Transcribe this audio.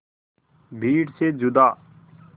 भीड़ से जुदा